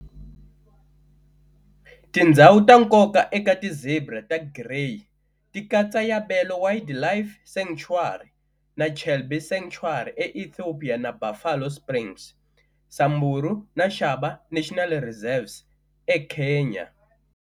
Tindzhawu ta nkoka eka ti zebra ta Gréy ti katsa Yabelo Wildlife Sanctuary na Chelbi Sanctuary e Ethiopia na Buffalo Springs, Samburu na Shaba National Reserves e Kenya.